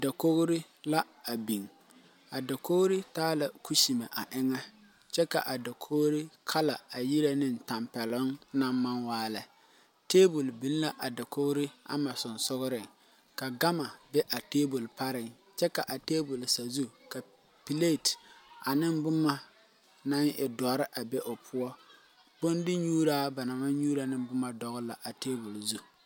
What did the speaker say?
Dakogre la a biŋ. A dakogre taa la kusemɛ a eŋe. Kyɛ ka a dakogre kala a yirɛ ne tampɛluŋ naŋ maŋ waa lɛ. Tabul biŋ la a dakogre ama susugreŋ. Ka gama be a tabul pareŋ. Kyɛ ka a tabul sazu ka bilet ane boma na e doure a be o poʊ. Bon de nyuura ba na maŋ nyuura ne boma dogle la a tabul zu